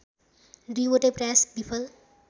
दुईवटै प्रयास विफल